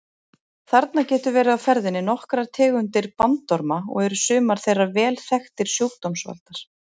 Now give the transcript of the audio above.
Þarna geta verið á ferðinni nokkrar tegundir bandorma og eru sumar þeirra vel þekktir sjúkdómsvaldar.